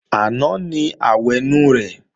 Àná ni àwẹ̀nù rẹ̀